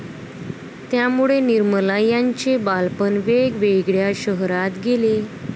त्यामुळे निर्मला यांचे बालपण वेगवेगळ्या शहरात गेले.